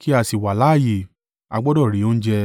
kí a sì wà láààyè, a gbọdọ̀ rí oúnjẹ.”